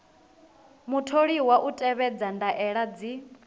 mutholiwa u tevhedza ndaela dzi